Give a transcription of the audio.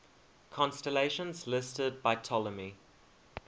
constellations listed by ptolemy